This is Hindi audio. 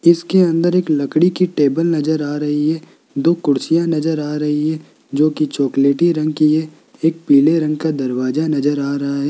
इसके अंदर एक लकड़ी की टेबल नजर आ रही है दो कुर्सियां नजर आ रही है जो की चॉकलेटी रंग कि है एक पीले रंग का दरवाजा नजर आ रहा है।